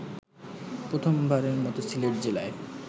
প্রথমবারের মত সিলেট জেলায়